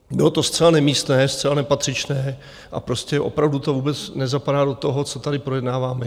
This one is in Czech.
Bylo to zcela nemístné, zcela nepatřičné a prostě opravdu to vůbec nezapadá do toho, co tady projednáváme.